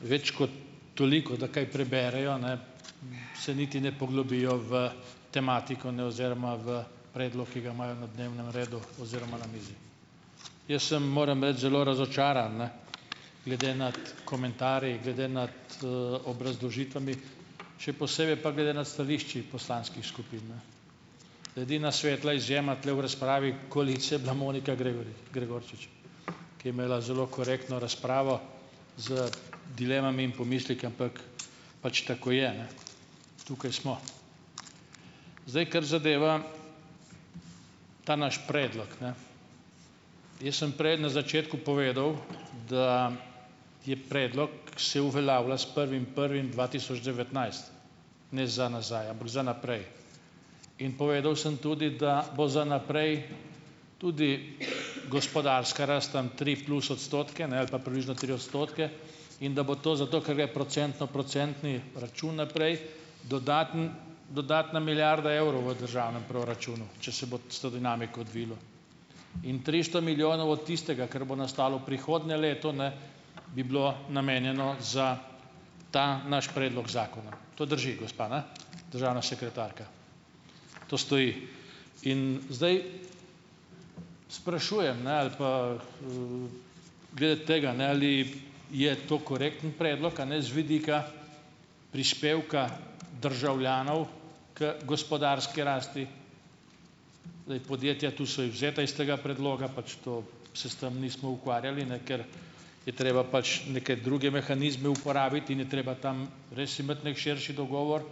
več kot toliko, da kaj preberejo, ne, se niti ne poglobijo v tematiko, ne, oziroma v predlog, ki ga imajo na dnevnem redu oziroma na mizi. Jaz sem, moram reči, zelo razočaran, ne, glede nad komentarji, glede nad, obrazložitvami, še posebej pa glede na stališčih poslanskih skupin, ne. Edina svetla izjema tule v razpravi koalicije je bila Monika Gregorčič, ki je imela zelo korektno razpravo z dilemami in pomisleki, ampak pač tako je, ne. Tukaj smo. Zdaj, kar zadeva ta naš predlog, ne. Jaz sem prej na začetku povedal, da je predlog, se uveljavlja s prvim prvim dva tisoč devetnajst, ne za nazaj, ampak za naprej. In povedal sem tudi, da bo za naprej tudi gospodarska rast tam tri plus odstotke, ne, ali pa približno tri odstotke in da bo to zato, ker gre "procentno-procentni" račun naprej, dodatna milijarda evrov v državnem proračunu, če se bo s to dinamiko odvilo, in tristo milijonov od tistega, kar bo nastalo prihodnje leto, ne, bi bilo namenjeno za ta naš predlog zakona. To drži, gospa, ne, državna sekretarka? To stoji? In zdaj sprašujem, ne, ali pa, glede tega, ne, ali je to korekten predlog, a ne, z vidika prispevka državljanov k gospodarski rasti? Zdaj, podjetja tu so izvzeta iz tega predloga, pač to se s tem nismo ukvarjali, ne, ker je treba pač neke druge mehanizme uporabiti in je treba tam res imeti neki širši dogovor.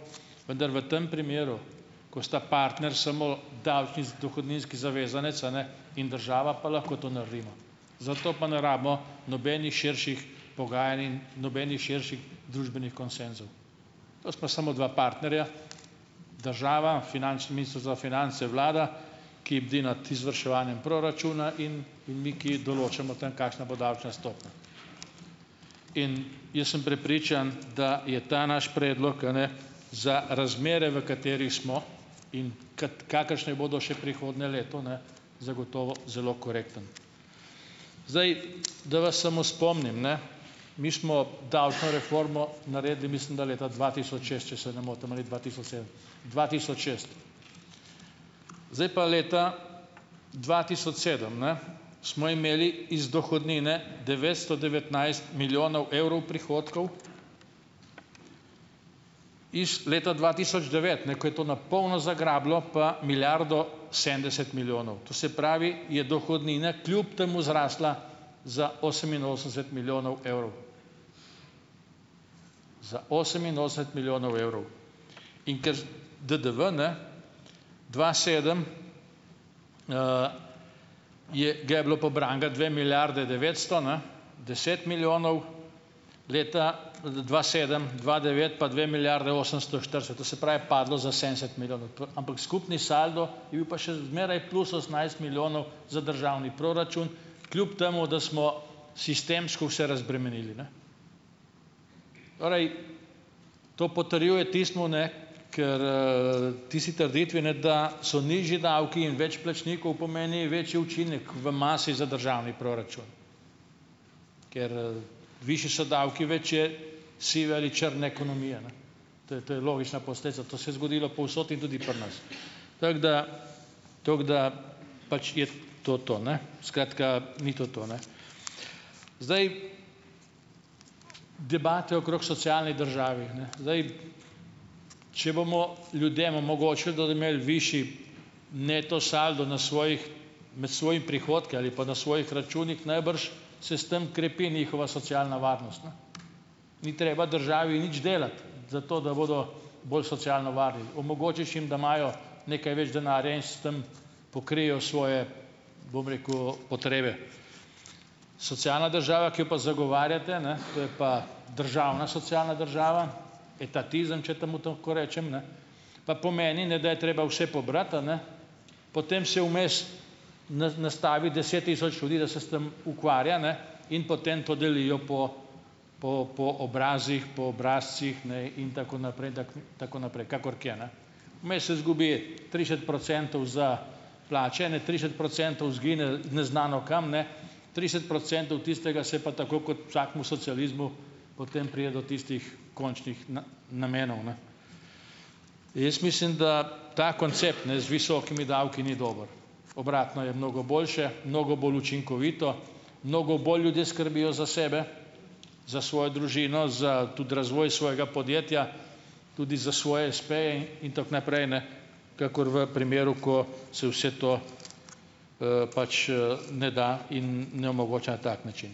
Vendar v tem primeru, ko sta partner samo dohodninski zavezanec, a ne, in država, pa lahko to naredimo. Za to pa ne rabimo nobenih širših pogajanj in nobenih širših družbenih konsenzov. To sta samo dva partnerja, država, finančni ministrstvo za finance, vlada, ki bdi nad izvrševanjem proračuna in mi, ki določamo o tem, kakšna bo davčna stopnja. In jaz sem prepričan, da je ta naš predlog, a ne, za razmere, v katerih smo in kakršne bodo še prihodnje leto, ne, zagotovo zelo korekten. Zdaj, da vas samo spomnim, ne, mi smo davčno reformo naredili, mislim, da leta dva tisoč šest, če se ne motim, ali dva tisoč sedem. Dva tisoč šest. Zdaj pa leta dva tisoč sedem, ne, smo imeli iz dohodnine devetsto devetnajst milijonov evrov prihodkov, leta dva tisoč devet, ne, ko je to na polno zagrabilo, pa milijardo sedemdeset milijonov. To se pravi, je dohodnina kljub temu zrasla za oseminosemdeset milijonov evrov. za oseminosemdeset milijonov evrov. In ker DDV, ne, dva tisoč sedem, je ga je bilo pobranega dve milijardi devetsto, ne. deset milijonov leta dva sedem, dva devet pa dve milijardi osemsto štirideset, to se pravi, je padlo za sedemdeset milijonov. Ampak skupni saldo je bil pa še zmeraj plus osemnajst milijonov za državni proračun, kljub temu, da smo sistemsko vse razbremenili, ne. Torej, to potrjuje tistim, ne, ker, tisti trditvi, ne, da so nižji davki in več plačnikov, pomeni večji učinek v masi za državni proračun, ker, višji so davki, več je sive ali črne ekonomije. To, to je logična posledica. To se je zgodilo povsod in tudi pri nas. Tako da ... Tako da ... Pač je to to, ne. Skratka, ni to to, ne. Zdaj, debate okrog socialne države, ne. Zdaj, če bomo ljudem omogočili, da bodo imeli višji neto saldo na svojih, na svojimi prihodki ali pa na svojih računih, najbrž s tem krepi njihova socialna varnost, ne. Ni treba državi nič delati, zato da bodo bolj socialno varni. Omogočiš jim, da imajo nekaj več denarja in s tem pokrijejo svoje, bom rekel, potrebe. Socialna država, ki jo pa zagovarjate, ne, to je pa državna socialna država, etatizem, če temu tako rečem, ne, pa pomeni, ne, da je treba vse pobrati, a ne, potem si vmes nastaviti deset tisoč ljudi, da se s tem ukvarja, ne, in potem to delijo po po, po obrazih, po obrazcih, ne, in tako naprej, in tako naprej, kakor kje, ne. Vmes se izgubi trideset procentov za plače, ne, trideset procentov izgine neznano kam, ne, trideset procentov tistega se pa tako kot v vsakem socializmu potem pride do tistih končnih namenov, ne. Jaz mislim, da ta koncept, ne, z visokimi davki ni dober. Obratno je mnogo boljše, mnogo bolj učinkovito, mnogo bolj ljudje skrbijo za sebe, za svojo družino, za tudi razvoj svojega podjetja, tudi za svoje espeje in tako naprej, ne, kakor v primeru, ko se vse to, pač, ne da in ne omogoča na tak način.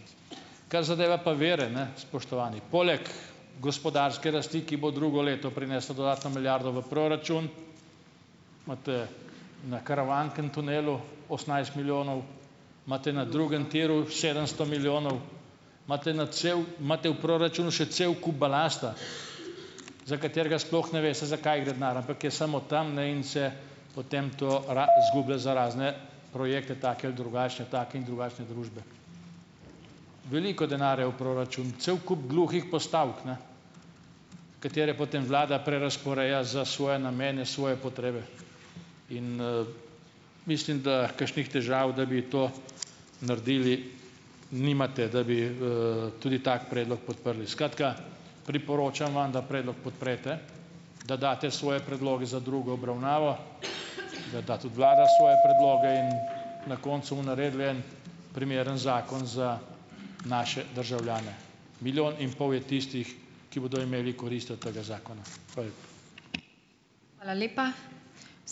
Kar zadeva pa vire, ne, spoštovani, poleg gospodarske rasti, ki bo drugo leto prinesla dodatno milijardo v proračun, imate na Karavanken tunelu osemnajst milijonov, imate na drugem tiru sedemsto milijonov, imate na cev, imate v proračunu še cel kup balasta, za katerega sploh ne veste, za kaj gre denar, ampak je samo tam, ne, in se potem to izgublja za razne projekte, take ali drugačne, take in drugačne družbe. Veliko denarja je v proračunu, cel kup gluhih postavk, ne, katere potem vlada prerazporeja za svoje namene, svoje potrebe. In, mislim, da kakšnih težav, da bi to naredili, nimate, da bi, tudi tak predlog podprli. Skratka, priporočam vam, da predlog podprete, da date svoje predloge za drugo obravnavo, da da tudi vlada svoje predloge, in na koncu bomo naredili en primeren zakon za naše državljane. Milijon in pol je tistih, ki bodo imeli korist od tega zakona. Hvala